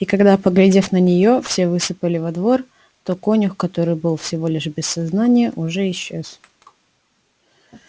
и когда поглядев на нее все высыпали во двор то конюх который был всего лишь без сознания уже исчез